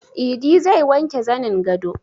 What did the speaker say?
Idi zai wanke zanin gado